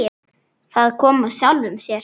Það kom af sjálfu sér.